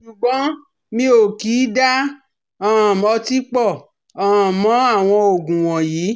Ṣùgbọ́n mi ò kì í da um ọtí pọ̀ um mọ́ àwọn oogun wọ̀nyí